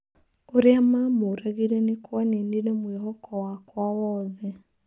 ũrĩa mamũragire nĩkwaninire mwĩhoko wakwa wothe.